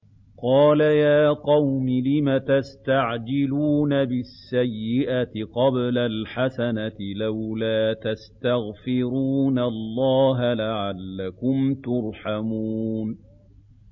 قَالَ يَا قَوْمِ لِمَ تَسْتَعْجِلُونَ بِالسَّيِّئَةِ قَبْلَ الْحَسَنَةِ ۖ لَوْلَا تَسْتَغْفِرُونَ اللَّهَ لَعَلَّكُمْ تُرْحَمُونَ